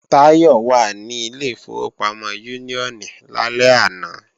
Táyọ̀ wà ní ilé ìfowópamọ́ Úníónì lálẹ́ àná